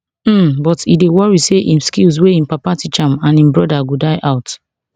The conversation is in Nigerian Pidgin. um but e dey worry say im skills wey im father teach im and im brother go die out